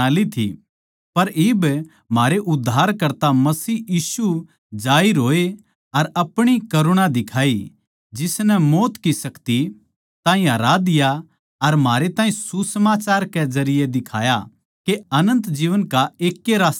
पर इब म्हारै उद्धारकर्ता मसीह यीशु जाहिर होए अर आपणी करुणा दिखाई जिसनै मौत की शक्ति ताहीं हरा दिया अर म्हारे ताहीं सुसमाचार कै जरिये दिखाया के अनन्त जीवन का एक ए रास्ता सै